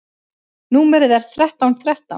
Númerið er þrettán þrettán.